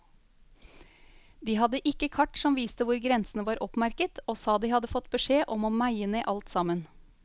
De hadde ikke kart som viste hvor grensene var oppmerket, og sa de hadde fått beskjed om å meie ned alt sammen.